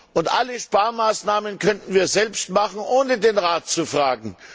Und alle Sparmaßnahmen könnten wir selbst vornehmen, ohne den Rat zu fragen.